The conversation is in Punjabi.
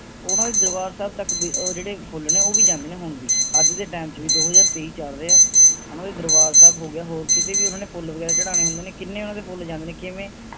ਉਹਨਾਂ ਦੇ ਦਰਬਾਰ ਸਾਹਿਬ ਤਕ ਵੀ ਅਹ ਜਿਹੜੇ ਫੁੱਲ ਨੇ ਉਹ ਵੀ ਜਾਂਦੇ ਨੇ ਹੁਣ ਵੀ ਅੱਜ ਦੇ ਟਾਈਮ ਚ ਵੀ ਦੋ ਹਜ਼ਾਰ ਤੇਈ ਚਾਲ ਰਿਹਾ ਹੈ ਓਹਨਾ ਦੇ ਦਰਬਾਰ ਸਾਹਿਬ ਹੋ ਗਿਆ, ਹੋਰ ਕਿਤੇ ਵੀ ਫੁੱਲ ਵਗੈਰਾ ਚੜ੍ਹਾਉਣੇ ਹੁੰਦੇ ਨੇ ਕਿੰਨੇ ਉਹਨਾਂ ਦੇ ਫੁੱਲ ਜਾਂਦੇ ਨੇ ਕਿਵੇਂ